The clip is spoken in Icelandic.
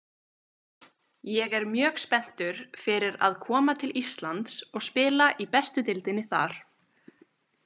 Ég er mjög spenntur fyrir að koma til Íslands og spila í bestu deildinni þar.